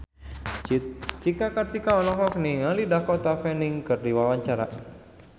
Cika Kartika olohok ningali Dakota Fanning keur diwawancara